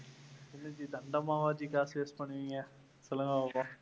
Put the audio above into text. என்ன ஜி தண்டமாவா ஜி காசு waste பண்ணுவீங்க சொல்லுங்க பாப்போம்.